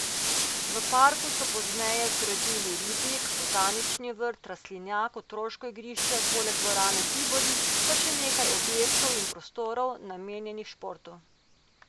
V parku so pozneje zgradili ribnik, botanični vrt, rastlinjak, otroško igrišče, poleg dvorane Tivoli pa še nekaj objektov in prostorov, namenjenih športu.